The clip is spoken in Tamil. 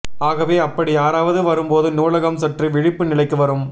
ஆகவே அப்படி யாராவது வரும்போது நூலகம் சற்று விழிப்பு நிலைக்கு வரும்